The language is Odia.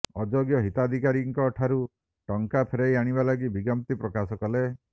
ଅଯୋଗ୍ୟ ହିତାଧିକାରୀଙ୍କଠାରୁ ଟଙ୍କା ଫେରାଇ ଆଣିବା ଲାଗି ବିଜ୍ଞପ୍ତି ପ୍ରକାଶ କଲେ